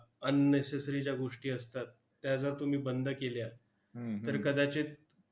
unnecessary ज्या गोष्टी असतात, त्या जर तुम्ही बंद केल्या, तर कदाचित